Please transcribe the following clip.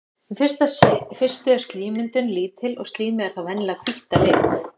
í fyrstu er slímmyndun lítil og slímið er þá venjulega hvítt að lit